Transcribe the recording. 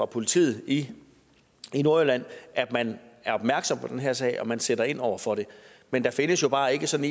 politiet i nordjylland at man er opmærksom på den her sag og at man sætter ind over for det men der findes jo bare ikke sådan